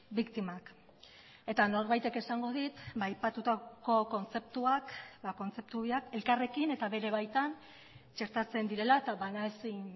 biktimak eta norbaitek esango dit aipatutako kontzeptuak kontzeptu biak elkarrekin eta bere baitan txertatzen direla eta banaezin